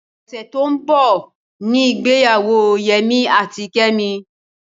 Ọ̀sẹ̀ ti ó ń bọ̀ ní ìgbéyàwó Yẹmí àti Kẹ́mi.